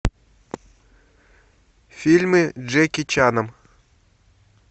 фильмы с джеки чаном